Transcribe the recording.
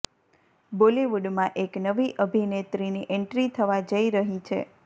બોલિવૂડમાં એક નવી અભિનેત્રીની એન્ટ્રી થવા જઈ રહી છે